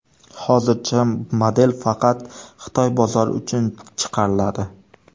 Hozircha model faqat Xitoy bozori uchun chiqariladi.